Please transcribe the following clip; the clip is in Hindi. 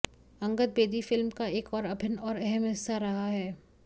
अंगद बेदी फिल्म का एक अभिन्न और अहम हिस्सा रहा है